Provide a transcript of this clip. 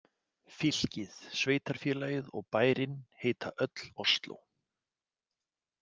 Fylkið, sveitarfélagið og bærinn heita öll Osló.